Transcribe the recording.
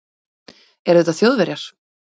Eru þetta Þjóðverjar?